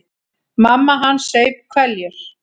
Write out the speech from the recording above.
Mamma hans saup hveljur.